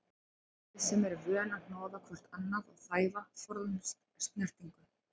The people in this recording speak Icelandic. Við sem erum vön að hnoða hvort annað og þæfa, forðumst snertingu.